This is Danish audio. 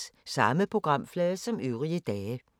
Samme programflade som øvrige dage